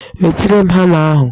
Wetere m hama ahụ!